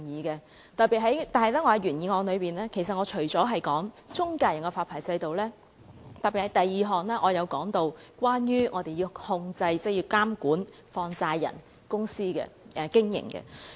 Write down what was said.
不過，在原議案中，我除了提及中介人的發牌制度外，也特別在第二項提到有關控制、監管放債人公司的經營。